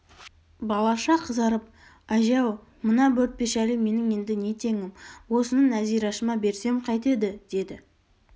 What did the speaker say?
балаша қызарып әже-ау мына бөртпе шәлі менің енді не теңім осыны нәзирашыма берсем қайтеді деді